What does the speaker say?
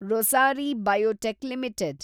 Rossari biotech limited